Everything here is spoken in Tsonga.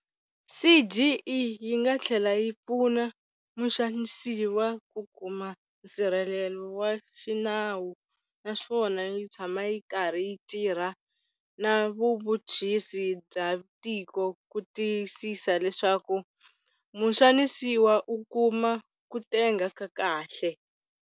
CGE yi nga tlhela yi pfuna muxanisiwa ku kuma nsirhelelo wa xinawu naswona yi tshama yi karhi yi tirha na vuvhuchisi bya tiko ku tiyisisa leswaku muxanisiwa u kuma ku tenga ka kahle.